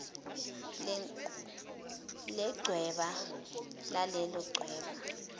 lechweba lalelo chweba